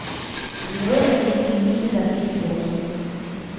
Det er noget af det mest gemene, der er sket i vort århundrede.